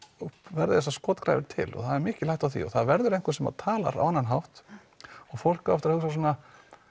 verði þessar skotgrafir til og það er mikil hætta á því og það verður einhver sem talar á annan hátt og fólk á eftir að hugsa svona ahh